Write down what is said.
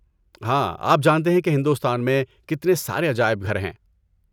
ہاں، آپ جانتے ہیں کہ ہندوستان میں کتنے سارے عجائب گھر ہیں۔